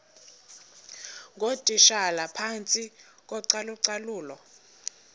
ngootitshala phantsi kocalucalulo